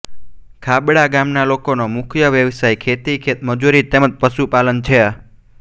ખાબડા ગામના લોકોનો મુખ્ય વ્યવસાય ખેતી ખેતમજૂરી તેમ જ પશુપાલન છે